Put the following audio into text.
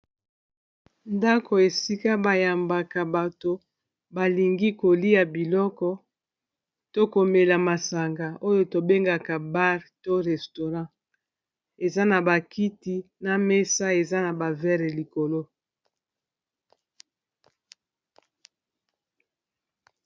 Ndako esika bayambaka bato balingi kolia biloko to komela masanga oyo tobengaka bar to restaurant eza na bakiti na mesa eza na ba verre likolo.